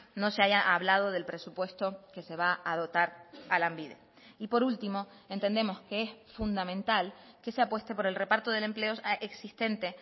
no se haya hablado del presupuesto que se va a dotar a lanbide y por último entendemos que es fundamental que se apueste por el reparto del empleo existente